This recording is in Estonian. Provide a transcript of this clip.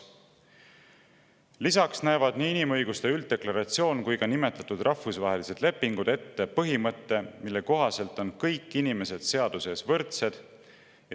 Lisaks näevad nii inimõiguste ülddeklaratsioon kui ka nimetatud rahvusvahelised lepingud ette põhimõtte, mille kohaselt kõik inimesed on seaduse ees võrdsed.